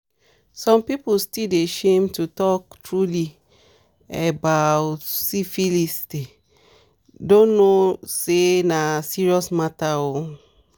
some people still dey shame to talk truely a bout syphilisthey don't know say na serious matter oo